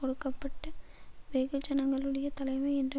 ஒடுக்கப்பட்ட வெகுஜனங்களுடைய தலைமை என்ற